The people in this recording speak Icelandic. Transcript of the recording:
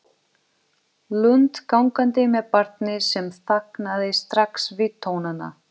Lund gangandi með barnið sem þagnaði strax við tónana.